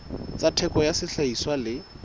tsa theko ya sehlahiswa le